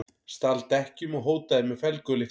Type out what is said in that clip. Stal dekkjum og hótaði með felgulykli